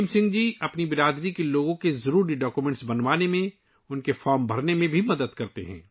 بھیم سنگھ جی ضروری دستاویزات بنانے اور فارم بھرنے میں اپنی برادری کے افراد کی مدد بھی کرتے ہیں